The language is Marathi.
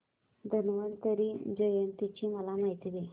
धन्वंतरी जयंती ची मला माहिती दे